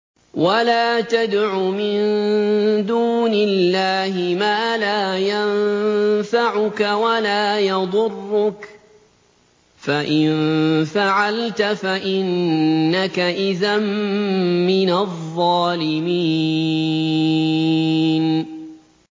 وَلَا تَدْعُ مِن دُونِ اللَّهِ مَا لَا يَنفَعُكَ وَلَا يَضُرُّكَ ۖ فَإِن فَعَلْتَ فَإِنَّكَ إِذًا مِّنَ الظَّالِمِينَ